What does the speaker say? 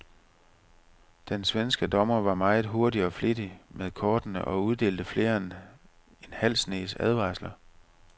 Den svenske dommer var meget hurtig og flittig med kortene og uddelte flere end en halv snes advarsler.